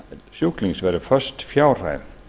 sjúklings verði föst fjárhæð